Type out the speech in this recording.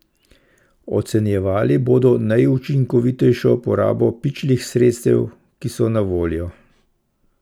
Ocenjevali bodo najučinkovitejšo porabo pičlih sredstev, ki so na voljo.